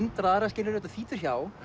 hundrað aðra þetta þýtur hjá